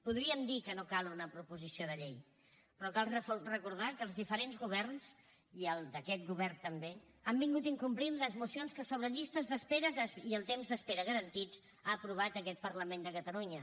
podríem dir que no cal una proposició de llei però cal recordar que els diferents governs i aquest govern també han incomplert les mocions que sobre llistes d’espera i els temps d’espera garantits ha aprovat aquest parlament de catalunya